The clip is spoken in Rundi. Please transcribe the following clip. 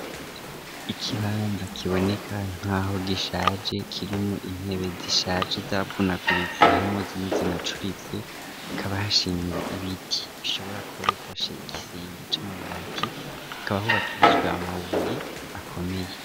Ikibanza kiboneka nk'aho gishaje kirimwo intebe zishaje zavunaguritse harimwo zimwe zinacuritse ,hakaba hashinze ibiti bishobora kuba bifashe ikirenge c'amabati ,hakaba hubakishijwe amabuye akomeye .